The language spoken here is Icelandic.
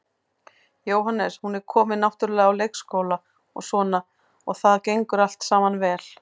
Jóhannes: Hún er komin náttúrulega á leikskóla og svona og það gengur allt saman vel?